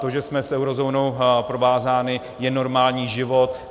To, že jsme s eurozónou provázáni, je normální život.